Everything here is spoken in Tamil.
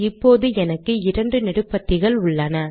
இப்போது எனக்கு இரண்டு நெடுபத்திகள் உள்ளன